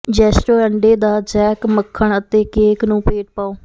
ਜ਼ੈਸਟੋ ਅੰਡੇ ਦਾ ਜੈੱਕ ਮੱਖਣ ਅਤੇ ਕੇਕ ਨੂੰ ਪੇਟ ਪਾਓ